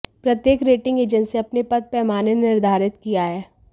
प्रत्येक rating agency अपने पद पैमाने निर्धारित किया है